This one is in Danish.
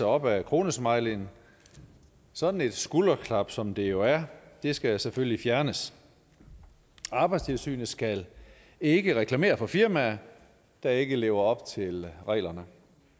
op ad kronesmileyen sådan et skulderklap som det jo er skal selvfølgelig fjernes arbejdstilsynet skal ikke reklamere for firmaer der ikke lever op til reglerne